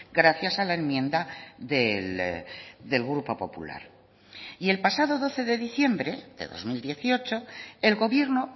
gracias a la enmienda del grupo popular y el pasado doce de diciembre de dos mil dieciocho el gobierno